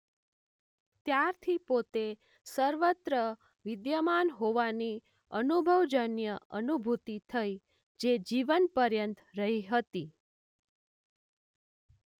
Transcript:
ત્યારથી પોતે સર્વત્ર વિદ્યમાન હોવાની અનુભવજન્ય અનુભૂતિ થઇ જે જીવનપર્યંત રહી હતી.